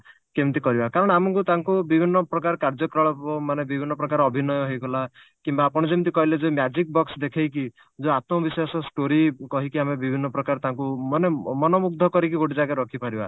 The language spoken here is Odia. କେମିତି କରିବା କାରଣ ଆମକୁ ତାଙ୍କୁ ବିଭିନ୍ନ ପ୍ରକାର କାର୍ଯ୍ୟ କଳାପ ମାନେ ବିଭିନ୍ନ ପ୍ରକାର ଅଭିନୟ ହେଇଗଲା କିମ୍ବା ଆପଣ ଯେମତି କହିଲେ ଯେ magic box ଦେଖେଇକି ଯଉ story କହିକି ଆମେ ବିଭିନ୍ନ ପ୍ରକାର ତାଙ୍କୁ ମାନେ ଅ ମନମୁଗ୍ଧ କରିକି ଗୋଟେ ଜାଗାରେ ରଖିପାରିବା